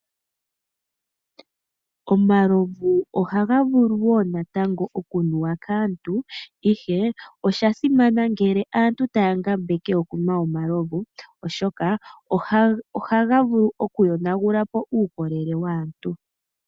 Omalovu ohaga vulu wo natango okunuwa kaantu ihe osha simana ngele aantu taya ngambeke okunwa omalovu, oshoka ohaga vulu okuyonagula po uukolelel waantu.